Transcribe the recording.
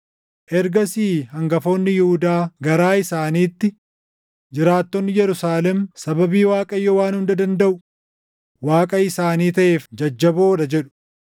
Ergasii hangafoonni Yihuudaa garaa isaaniitti, ‘Jiraatonni Yerusaalem sababii Waaqayyo Waan Hunda Dandaʼu Waaqa isaanii taʼeef jajjaboo dha’ jedhu.